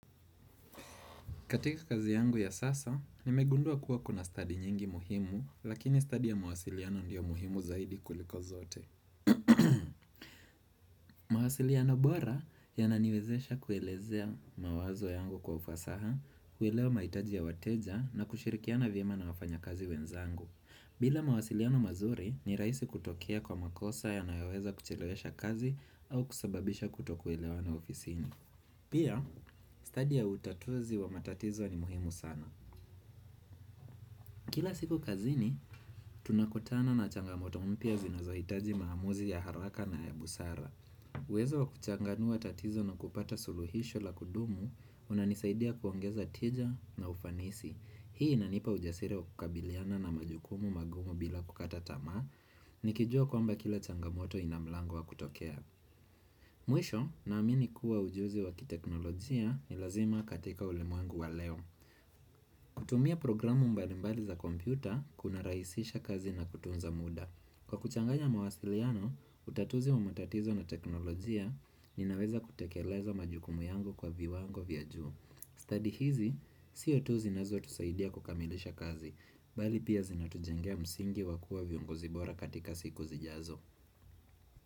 Katika kazi yangu ya sasa nimegundua kuwa kuna stadi nyingi muhimu lakini stadi ya mawasiliano ndiyo muhimu zaidi kuliko zote. Mawasiliano bora yananiwezesha kuelezea mawazo yangu kwa ufasaha kuwelewa mahitaji ya wateja na kushirikiana vyema na wafanya kazi wenzangu. Bila mawasiliano mazuri ni raisi kutokea kwa makosa yanayoweza kuchilewesha kazi au kusababisha kutokuelewana ofisiini. Pia stadi ya utatuzi wa matatizo ni muhimu sana kila siku kazini tunakutana na changamoto mpya zinazohitaji maamuzi ya haraka na ya busara uwezo wa kuchanganua tatizo na kupata suluhisho la kudumu unanisaidia kuongeza tija na ufanisi hii inanipa ujasiri wa kukabiliana na majukumu magumu bila kukata tamaa nikijua kwamba kila changamoto ina mlango wa kutokea mwisho naamini kuwa ujuzi wakiteknolojia ni lazima katika ulimwengu wa leo kutumia programu mbalimbali za kompyuta kuna rahisisha kazi na kutunza muda kwa kuchanganya mawasiliano utatuzi wa matatizo na teknolojia ninaweza kutekeleza majukumu yangu kwa viwango vya juu study hizi sio tu zinazotusaidia kukamilisha kazi bali pia zinatujengea msingi wakua viongozi bora katika siku zijazo.